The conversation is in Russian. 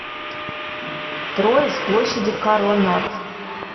трое с площади карронад